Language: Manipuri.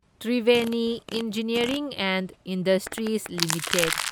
Triveni engineering and industries limited